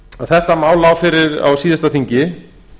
þetta mál lá fyrir á síðasta þingi